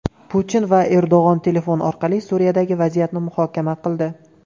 Putin va Erdo‘g‘on telefon orqali Suriyadagi vaziyatni muhokama qildi.